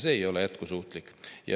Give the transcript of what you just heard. See ei ole jätkusuutlik.